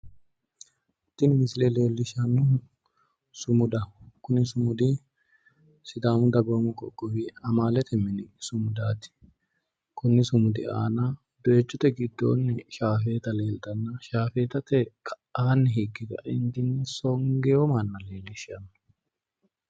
Tini misile leellishannohu sumudaho kuni sumudi sidaamu dagoomu qoqqowi mootimma amalete mini sumudaati kunni sumudi aana doyichote giddoonni higge nooti shaafeetate ka'anni hige ka'eentinni songino manna leellishanno